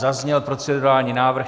Zazněl procedurální návrh.